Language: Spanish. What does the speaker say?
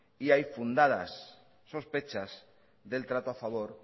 y hay fundadas sospechas del trato a favor